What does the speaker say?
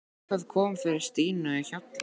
Hvað kom fyrir Stínu á Hjalla?